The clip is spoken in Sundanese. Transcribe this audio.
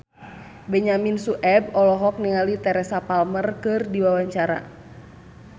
Benyamin Sueb olohok ningali Teresa Palmer keur diwawancara